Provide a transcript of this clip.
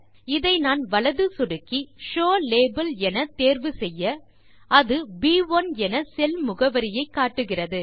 இதை நான் வலது சொடுக்கி ஷோவ் லேபல் என தேர்வு செய்ய அது ப்1 என செல் முகவரியை காட்டுகிறது